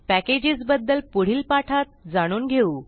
package बद्दल पुढील पाठात जाणून घेऊ